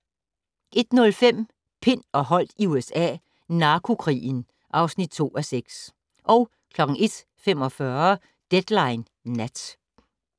01:05: Pind og Holdt i USA - narkokrigen (2:6) 01:45: Deadline Nat